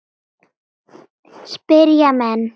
spyrja menn.